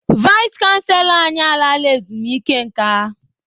Vais chanselọ anyị a laala ezumike nka.